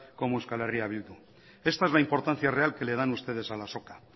como eh bildu esta es la importancia real que le dan ustedes a la azoka